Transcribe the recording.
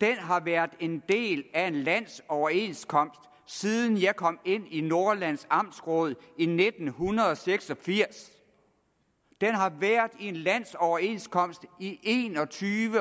har været en del af en landsoverenskomst siden jeg kom ind i nordjyllands amtsråd i nitten seks og firs den har været del en landsoverenskomst i en og tyve